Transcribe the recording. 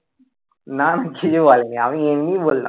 না না কিছু বলেনি আমি এমনি বললাম.